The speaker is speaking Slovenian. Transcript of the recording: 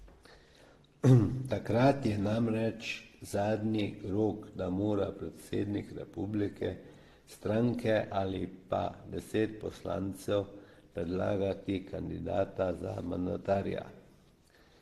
Takrat je namreč zadnji rok, ko morajo predsednik republike, stranke ali pa deset poslancev predlagati kandidata za mandatarja.